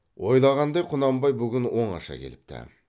ойлағандай құнанбай бүгін оңаша келіпті